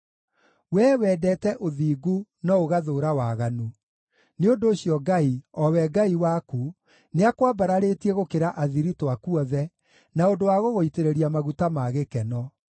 Wee wendete ũthingu no ũgathũũra waganu; nĩ ũndũ ũcio Ngai, o we Ngai waku, nĩakwambararĩtie gũkĩra athiritũ aku othe na ũndũ wa gũgũitĩrĩria maguta ma gĩkeno.